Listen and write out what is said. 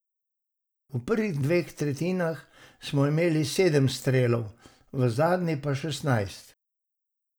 V prvih dveh tretjinah smo imeli sedem strelov, v zadnji pa šestnajst.